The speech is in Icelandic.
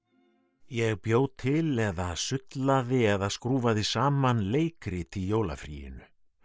ég bjó til eða sullaði eða skrúfaði saman leikrit í jólafríinu